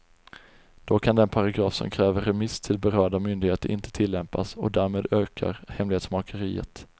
Då kan den paragraf som kräver remiss till berörda myndigheter inte tillämpas och därmed ökar hemlighetsmakeriet.